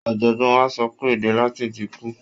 Ọ̀jọ̀gbọ́n wa sọ pé èdè Latin ti kú.